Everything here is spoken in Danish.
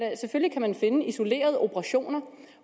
man finde isolerede operationer